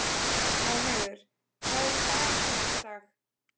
Móheiður, hvað er í dagatalinu í dag?